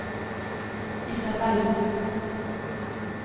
Isabelle Sund